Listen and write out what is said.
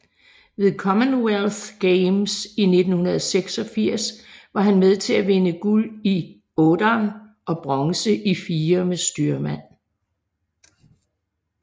Ved Commonwealth Games i 1986 var han med til at vinde guld i otteren og bronze i firer med styrmand